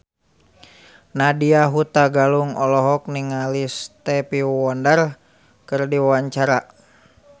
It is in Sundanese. Nadya Hutagalung olohok ningali Stevie Wonder keur diwawancara